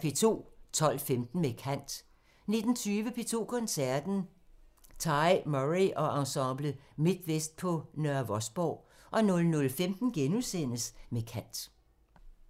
12:15: Med kant 19:20: P2 Koncerten – Tai Murray og Ensemble Midtvest på Nørre Vosborg 00:15: Med kant *